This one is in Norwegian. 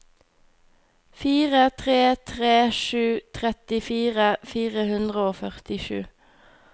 fire tre tre sju trettifire fire hundre og førtisju